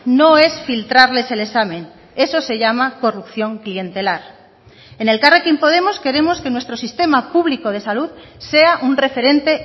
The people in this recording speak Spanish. no es filtrarles el examen eso se llama corrupción clientelar en elkarrekin podemos queremos que nuestro sistema público de salud sea un referente